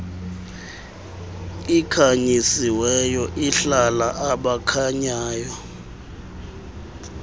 ikhanyisiweyo ihlala abakhanyayo